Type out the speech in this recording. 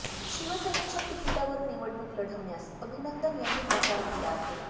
शिवसेनेच्या तिकिटावर निवडणूक लढवण्यास अभिनंदन यांनी नकार दिला आहे